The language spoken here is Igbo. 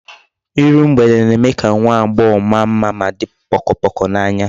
Iru mgbede na-eme ka nwa agbogho maa mma ma di pokopoko n'anya